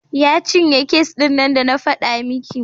Ya cinye kes ɗin nan da na faɗa miki.